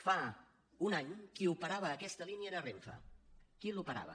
fa un any qui operava aquesta línia era renfe qui l’operava